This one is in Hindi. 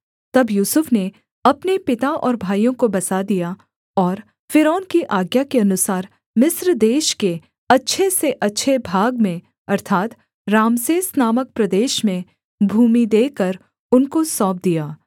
तब यूसुफ ने अपने पिता और भाइयों को बसा दिया और फ़िरौन की आज्ञा के अनुसार मिस्र देश के अच्छे से अच्छे भाग में अर्थात् रामसेस नामक प्रदेश में भूमि देकर उनको सौंप दिया